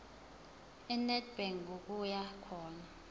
enedbank ngokuya khona